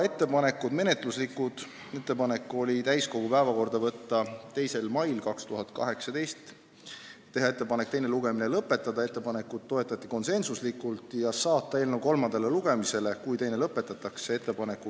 Menetluslikud otsused olid järgmised: teha ettepanek võtta eelnõu täiskogu päevakorda 2. maiks 2018, teha ettepanek teine lugemine lõpetada ja saata eelnõu kolmandale lugemisele, kui teine lõpetatakse, 9. maiks.